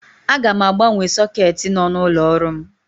Aga m agbanwe sọketi nọ n'ụlọ ọrụ m.